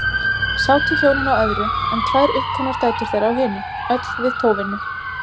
Sátu hjónin á öðru, en tvær uppkomnar dætur þeirra á hinu, öll við tóvinnu.